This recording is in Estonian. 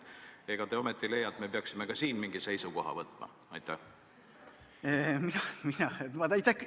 Ega te ometi leia, et me peaksime ka siin mingi seisukoha võtma?